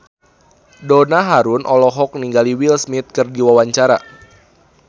Donna Harun olohok ningali Will Smith keur diwawancara